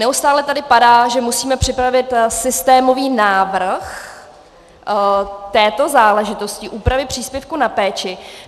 Neustále tady padá, že musíme připravit systémový návrh této záležitosti, úpravy příspěvků na péči.